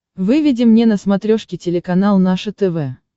выведи мне на смотрешке телеканал наше тв